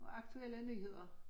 Og aktuelle nyheder